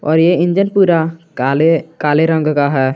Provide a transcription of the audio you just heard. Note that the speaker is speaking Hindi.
और इंजन पूरा काले रंग का है।